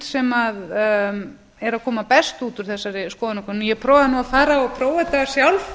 sem eru að koma best út úr þessari skoðanakönnun ég prófaði nú að fara og prófa þetta sjálf